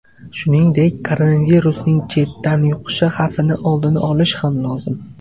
Shuningdek, koronavirusning chetdan yuqishi xavfini oldini olish ham lozim.